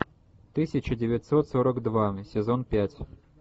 тысяча девятьсот сорок два сезон пять